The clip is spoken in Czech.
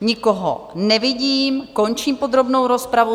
Nikoho nevidím, končím podrobnou rozpravu.